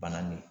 Bananin